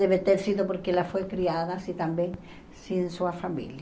Deve ter sido porque ela foi criada assim também, sem sua família.